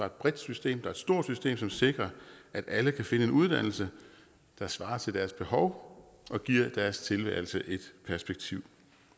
et bredt system og et stort system som sikrer at alle kan finde en uddannelse der svarer til deres behov og giver deres tilværelse et perspektiv